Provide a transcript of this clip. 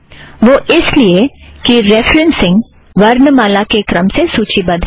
वह इस लिए कि रेफ़रेन्ससिंग वर्णमाला के क्रम से सूची बद्ध है